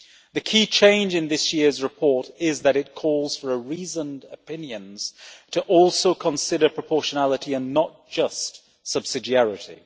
The key change in this year's report is that it calls for reasoned opinions to also consider proportionality and not just subsidiarity.